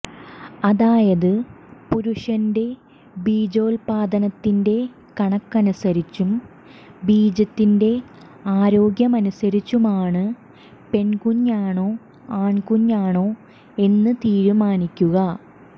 അതായത് പുരുഷന്റെ ബീജോത്പാദനത്തിന്റെ കണക്കനുസരിച്ചും ബീജത്തിന്റെ ആരോഗ്യമനുസരിച്ചുമാണ് പെണ്കുഞ്ഞാണോ ആണ്കുഞ്ഞാണോ എന്ന് തീരുമാനിക്കുക